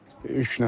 üç nəfər olub.